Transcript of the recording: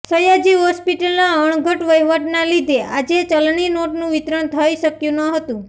સયાજી હોસ્પિટલનાં અણઘડ વહીવટના લીધે આજે ચલણી નોટનું વિતરણ થઇ શક્યું ન હતું